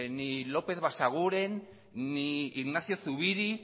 ni lópez basaguren ni ignacio zubiri